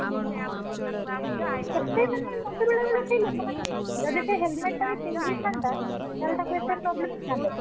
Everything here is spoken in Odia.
ହୁଁ, ଏତେ ମାନେ ମତେ ବେଳେବେଳେ ସେଇ ଲୋକମାନଙ୍କ, ଯଦି ସେ helmet ଟା ବି ପିନ୍ଧିଥାନ୍ତା, ତାହେଲେ ତାକୁ ଏତେ problem ହେଇଥାନ୍ତା କି?